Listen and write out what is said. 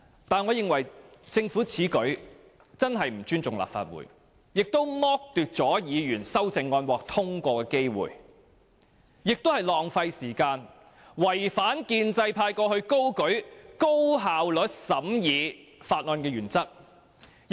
但是，我認為政府此舉真的不尊重立法會，也剝奪議員修正案獲得通過的機會，既浪費時間，也違反建制派過去高舉高效率審議法案的原則。